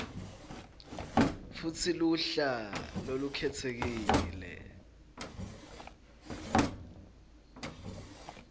futsi luhla lolukhetsekile